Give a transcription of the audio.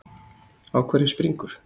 Á hverju springur?